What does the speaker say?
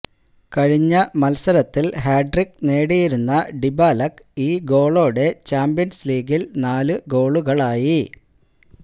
കഴിഞ്ഞ മത്സരത്തില് ഹാട്രിക്ക് നേടിയിരുന്ന ഡിബാലക്ക് ഈ ഗോളോടെ ചാമ്പ്യന്സ് ലീഗില് നാലു ഗോളുകളായി